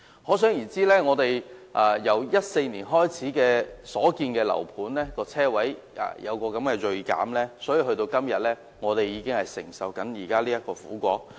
可想而知，香港由2014年開始所建的樓盤的車位數目銳減，以致我們現在便需要承受這個苦果。